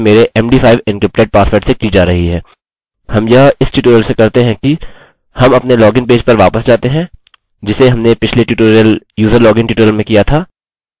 हम यह इस प्रकार से करते हैं कि हम अपने login पेज पर वापस जाते हैं जिसे हमने पिछले ट्यूटोरियल userlogin ट्यूटोरियल में किया था